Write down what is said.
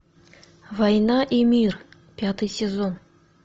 война и мир пятый сезон